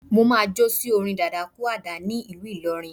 Máà jo sí orin dadakúàdà ní ìlú ìlọrin